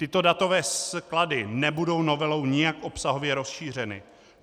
Tyto datové sklady nebudou novelou nijak obsahově rozšířeny.